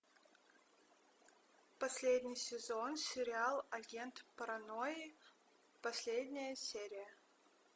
последний сезон сериал агент паранойи последняя серия